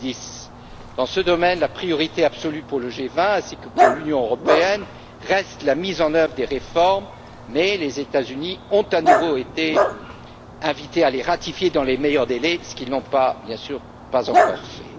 2010. Dans ce domaine, la priorité absolue pour le G20 ainsi que pour l'Union européenne reste la mise en œuvre des réformes mais les États Unis ont à nouveau été invités à les ratifier dans les meilleurs délais, ce qu'ils n'ont, bien sûr, pas encore fait.